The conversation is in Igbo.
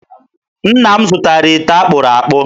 Nna m zụtara ite a kpụrụ akpụ